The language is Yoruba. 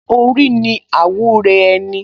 Orí ni àwúre ẹni